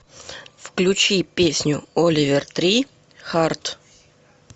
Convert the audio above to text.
включи песню оливер три харт